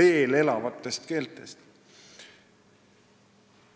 veel elavatest keeltest.